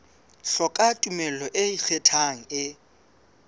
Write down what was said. hloka tumello e ikgethang e